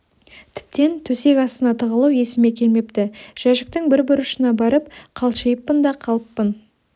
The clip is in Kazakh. тіптен төсек астына тығылу есіме келмепті жәшіктің бір бұрышына барып қалшиыппын да қалыппын